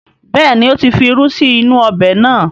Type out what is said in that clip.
Bẹ́ẹ̀ni, ó ti fi irú sí inú ọbẹ̀ náà